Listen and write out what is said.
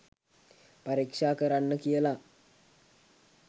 පරීක්ෂා කරන්න කියලා